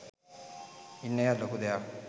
ඉන්න එකත් ලොකු දෙයක්.